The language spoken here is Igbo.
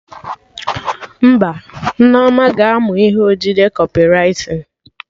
Mba, Nneoma ga-amụ ihe odide Kọpịwritin